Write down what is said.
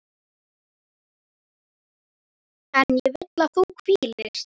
En ég vil að þú hvílist.